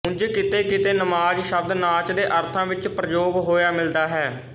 ਉਂਜ ਕਿਤੇਕਿਤੇ ਨਮਾਜ਼ ਸ਼ਬਦ ਨਾਚ ਦੇ ਅਰਥਾਂ ਵਿੱਚ ਪ੍ਰਯੋਗ ਹੋਇਆ ਮਿਲਦਾ ਹੈ